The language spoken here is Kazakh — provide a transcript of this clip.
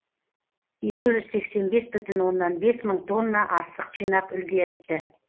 екі жүз сексен бес бүтін оннан бес мың тонна астық жинап үлгеріпті